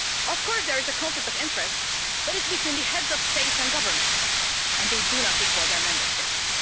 Of course there is a conflict of interest, but it's between the Heads of States and Governments, and they do not equal their Member States.